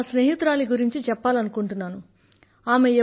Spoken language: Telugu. నేను నా స్నేహితురాలి గురించి చెప్పాలనుకుంటున్నాను